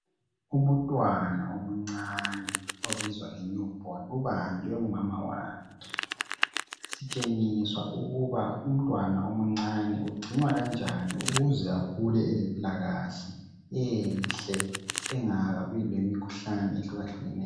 Umntwana omncane obizwa nge newborn ubanjwe ngumama wakhe. Sitshengiswa ukuba umntwana omncane ugcinwa kanjani ukuze akhule elempilakahle enhle angabi lemikhuhlane ehlukahlukeneyo.